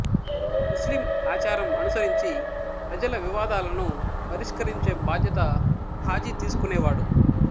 ముస్లిం ఆచారం అనుసరించి ప్రజల వివాదాలను పరిష్కరించే బాధ్యత ఖాజీ తీసుకునేవాడు